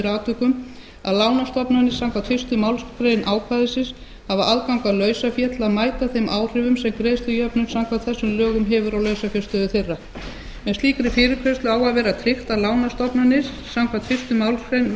atvikum að lánastofnanir samkvæmt fyrstu málsgrein ákvæðisins hafi aðgang að lausafé til að mæta þeim áhrifum sem greiðslujöfnun samkvæmt þessum lögum hefur á lausafjárstöðu þeirra með slíkri fyrirgreiðslu á að vera tryggt að lánastofnanir samkvæmt fyrstu málsgrein